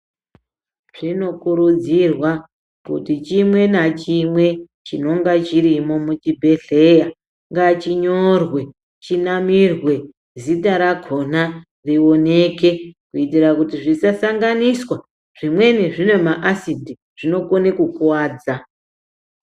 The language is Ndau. Zvinokurudzirwa kuti chimwe nachimwe chinonga chirimo muchibhehleya ngachinyorwe chinamirwe zita rakona rioneke kuitira kuti zvisasanganiswa, zvimweni zvine maasidhi, zvinokone kukuwadza.